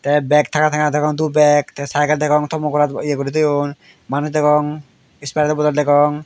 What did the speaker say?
tey bag tanga tanga degong dup bag tey saikel degong thomo gorat ye guri toyon manuj degong isperayedo bodol degong.